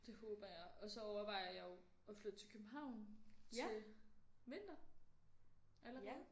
Det håber jeg og så overvejer jeg jo at flytte til København til vinter allerede